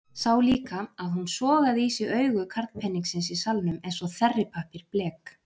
Sá líka að hún sogaði í sig augu karlpeningsins í salnum eins og þerripappír blek.